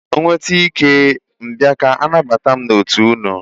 M nwete ike, m bịa ka anabata m n'otu ụnụ.